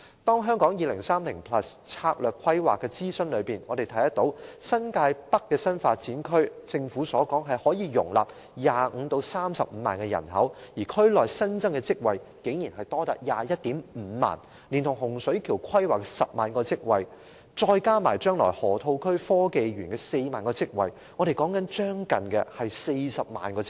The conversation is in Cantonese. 就《香港 2030+》策略規劃進行的諮詢，我們看到新界北新發展區可容納 250,000 至 300,000 人口，而區內的新增職位竟多達 215,000 個，連同洪水橋規劃的 100,000 個職位，以及未來河套區港深創新及科技園的 40,000 個職位，將會增加近 400,000 個職位。